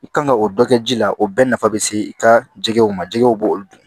I kan ka o dɔ kɛ ji la o bɛɛ nafa bɛ se i ka jɛgɛw ma jɛgɛw b'olu dun